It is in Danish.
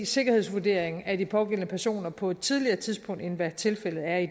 sikkerhedsvurdering af de pågældende personer på et tidligere tidspunkt end hvad tilfældet er i